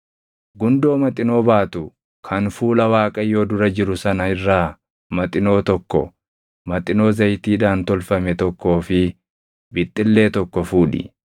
Gundoo Maxinoo baatu kan fuula Waaqayyoo dura jiru sana irraa maxinoo tokko, maxinoo zayitiidhaan tolfame tokkoo fi bixxillee tokko fuudhi.